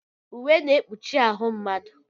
Uwe na-ekpuchi ahụ mmadụ.